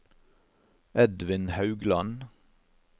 Edvin Haugland